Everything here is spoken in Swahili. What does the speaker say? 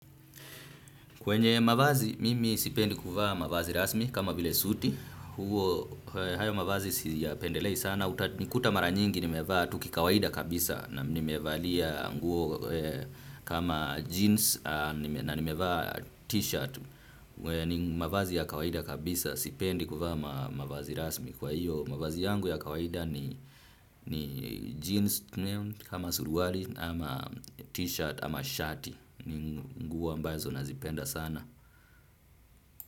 Kwenye mavazi, mimi sipendi kuvaa mavazi rasmi kama vile suti, hayo mavazi siyapendelei sana, utanikuta mara nyingi nimevaa tu kikawaida kabisa na nimevalia nguo kama jeans na nimevaa t-shirt, mavazi ya kawaida kabisa sipendi kuvaa mavazi rasmi kwa hiyo. Mavazi yangu ya kawaida ni jeans kama suruali ama t-shirt ama shati ni nguo ambazo nazipenda sana.